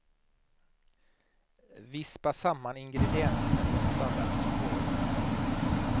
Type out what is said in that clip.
Vispa samman ingredienserna i en salladsskål.